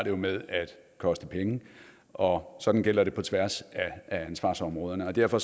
jo med at koste penge og sådan gælder det på tværs af ansvarsområderne og derfor